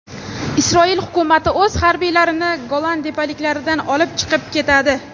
Isroil hukumati o‘z harbiylarini Golan tepaliklaridan olib chiqib ketadi.